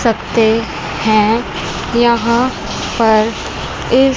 सकते हैं यहां पर इस--